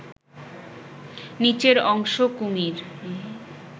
নিচের অংশ কুমির